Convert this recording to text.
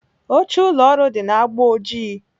Oche ụlọ ọrụ dị na agba ojii.